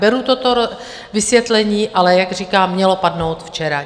Beru toto vysvětlení, ale jak říkám, mělo padnout včera.